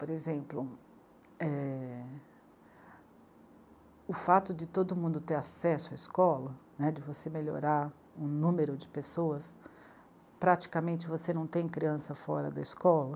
Por exemplo, é.... o fato de todo mundo ter acesso à escola, né, de você melhorar o número de pessoas, praticamente você não tem criança fora da escola.